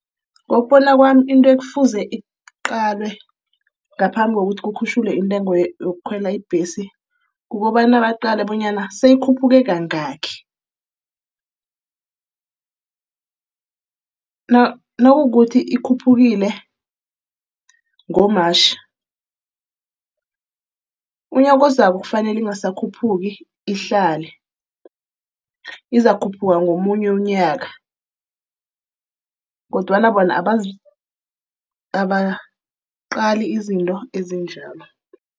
Ngokubona kwami into ekufuze iqalwe ngaphambi kokuthi kukhutjhulwe intengo yokukhwela ibhesi, kukobana baqale bonyana seyikhuphukile kangaki. Nakukuthi ikhuphukile ngo-March, umnyaka ozako kufanele ingasakhuphuki, ihlale. Izakukhuphuka ngomunye umnyaka, kodwana bona abaqali izinto ezinjalo.